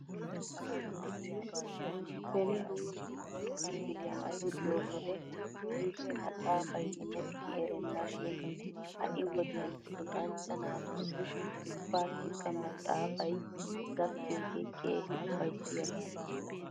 Beni nuuni koyro kifiliyan luxxiyoo wode nuusi maxaafay imetti erenna shin ha'i wodiyan luxanchcha naatussi ubbaasikka maxaafay gakkiyoogee keehi ufayssiyaaba.